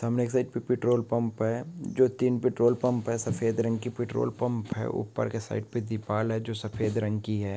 सामने के side petrol pump है जो तीन पिट्रोल पंप है सफदे रंग की पिट्रोल पंप है ऊपर के साइड पे दीपाल है जो सफेद रंग की है।